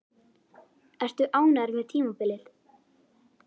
Ertu ánægður með tímabilið?